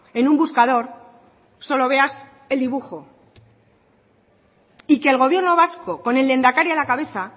en un buscador solo veas el dibujo y que el gobierno vasco con el lehendakari a la cabeza